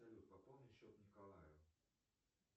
салют пополни счет николаю